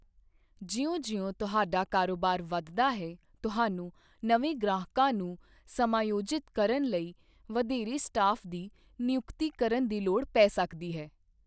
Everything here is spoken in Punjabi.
ਜਿਉਂ ਜਿਉਂ ਤੁਹਾਡਾ ਕਾਰੋਬਾਰ ਵੱਧਦਾ ਹੈ, ਤੁਹਾਨੂੰ ਨਵੇਂ ਗ੍ਰਾਹਕਾਂ ਨੂੰ ਸਮਾਯੋਜਿਤ ਕਰਨ ਲਈ ਵਧੇਰੇ ਸਟਾਫ ਦੀ ਨਿਯੁਕਤੀ ਕਰਨ ਦੀ ਲੋੜ ਪੈ ਸਕਦੀ ਹੈ।